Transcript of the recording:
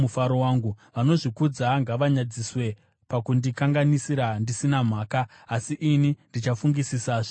Vanozvikudza ngavanyadziswe pakundikanganisira ndisina mhaka, asi ini ndichafungisisa zvirevo zvenyu.